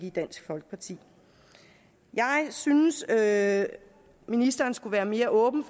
i dansk folkeparti jeg synes at ministeren skulle være mere åben